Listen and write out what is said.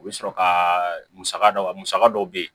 U bɛ sɔrɔ ka musaka dɔ musaka dɔ bɛ yen